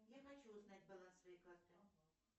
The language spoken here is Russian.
я хочу узнать баланс своей карты